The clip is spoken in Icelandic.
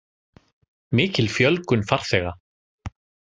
Mikil fjölgun farþega